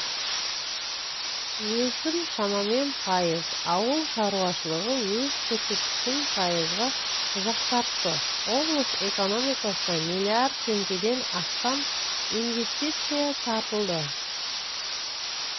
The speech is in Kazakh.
өсім шамамен пайыз ауыл шаруашылығы өз көрсеткішін пайызға жақсартты облыс экономикасына миллиард теңгеден астам инвестиция тартылды